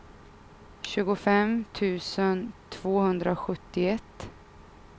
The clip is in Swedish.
tjugofem tusen tvåhundrasjuttioett